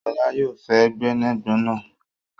Ṣọlá yóò fé gbẹ́nàgbẹ́nà